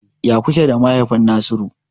Ya kuke da mahaifin Nasiru?